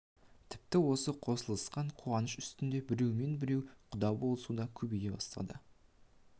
тіпті осы қосылысқан қуаныш үстінде біреумен біреу құда болысу да көбейе бастаған